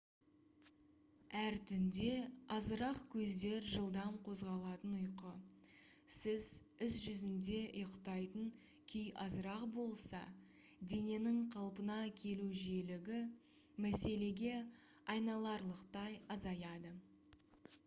әр түнде азырақ көздер жылдам қозғалатын ұйқы сіз іс жүзінде ұйықтайтын күй азырақ болса дененің қалпына келу жиілігі мәселеге айналарлықтай азаяды